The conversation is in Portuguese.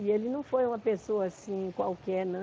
E ele não foi uma pessoa, assim, qualquer, não.